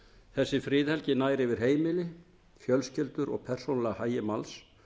þessi friðhelgi nær yfir heimili fjölskyldu og persónulega hagi manns